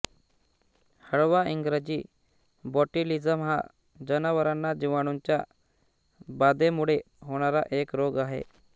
हळवा इंग्रजीबॉट्युलिझम हा जनावरांना जिवाणूंच्या बाधेमुळे होणारा एक रोग आहे